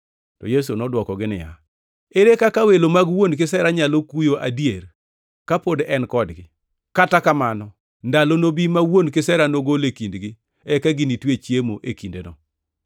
To Yesu nodwokogi niya, “Ere kaka welo mag wuon kisera nyalo kuyo adier kapod en kodgi? Kata kamano ndalo nobi ma wuon kisera nogol e kindgi; eka ginitwe chiemo e kindeno.